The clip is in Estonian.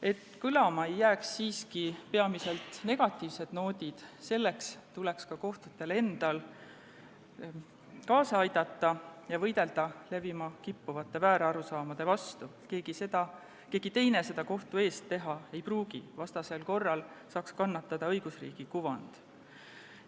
Et kõlama ei jääks peamiselt negatiivsed noodid, tuleks ka kohtul endal kaasa aidata ja võidelda levima kippuvate väärarusaamade vastu, keegi teine seda kohtu eest teha ei pruugi, muidu saaks kannatada õigusriigi kuvand.